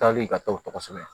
Taali ka taa o tɔgɔ sɛbɛn